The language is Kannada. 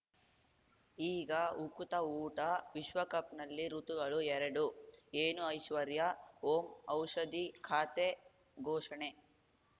ಈಗ ಉಕುತ ಊಟ ವಿಶ್ವಕಪ್‌ನಲ್ಲಿ ಋತುಗಳು ಎರಡು ಏನು ಐಶ್ವರ್ಯಾ ಓಂ ಔಷಧಿ ಖಾತೆ ಘೋಷಣೆ